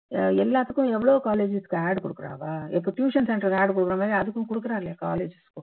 அஹ் எல்லாத்துக்கும் எவ்ளோ colleges க்கு கொடுக்குறா அவா இப்போ tuition center க்கு ad கொடுக்குற மாதிரி அதுக்கும் கொடுக்குறா இல்லையா colleges க்கும்